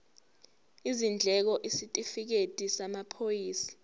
izindleko isitifikedi samaphoyisa